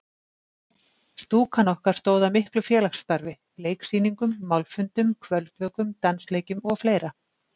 Stúkan okkar stóð að miklu félagsstarfi: Leiksýningum, málfundum, kvöldvökum, dansleikjum og fleira.